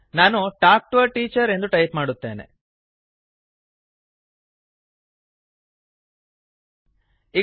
ನಾನು talk T O A teacher talk to a teacher ಎಂದು type ಮಾಡುತ್ತೇನೆ